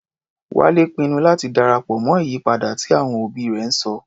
Wálé pinnu láti darapọ̀ mọ́ ìyípadà tí àwọn òbí rẹ̀ ń sọ.